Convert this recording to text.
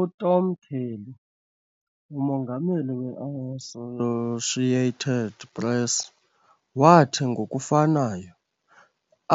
UTom Curley, uMongameli we-Associated Press, wathi ngokufanayo,